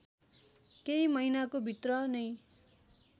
केही महिनाको भित्र नै